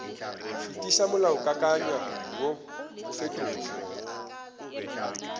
fetiša molaokakanywa woo o fetotšwego